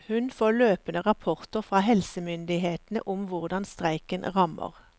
Hun får løpende rapporter fra helsemyndighetene om hvordan streiken rammer.